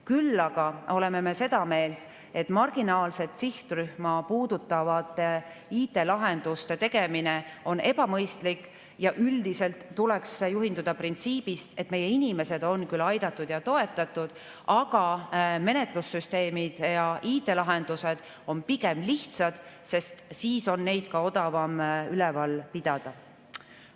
Küll aga oleme me seda meelt, et marginaalset sihtrühma puudutavad IT‑lahendused on ebamõistlikud ja üldiselt tuleks juhinduda printsiibist, et meie inimesed on küll aidatud ja toetatud, aga menetlussüsteemid ja IT‑lahendused olgu pigem lihtsad, sest siis on neid süsteeme ka odavam üleval pidada.